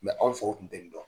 anw faw kun tɛ nin dɔn.